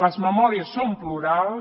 les memòries són plurals